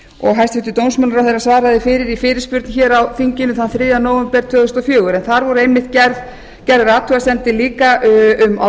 og hæstvirtur dómsmálaráðherra svaraði fyrir í fyrirspurn á þingi þann þriðja nóvember tvö þúsund og fjögur en þar voru einmitt gerðar athugasemdir líka um